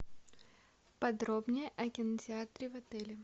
подробнее о кинотеатре в отеле